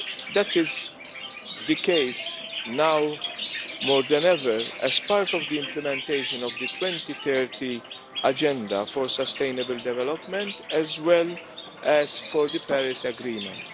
That is the case now more than ever as part of the implementation of the 2030 Agenda for Sustainable Development as well as for the Paris Agreement.